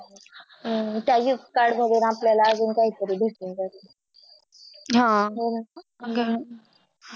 हम्म त्याच्यात Card वर मधू आपल्याला काहीतरी भेटून जाईल हा